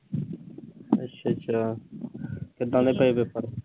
ਅੱਛਾ-ਅੱਛਾ। ਕਿੱਦਾਂ ਰਹੇ ਪੇਪਰ?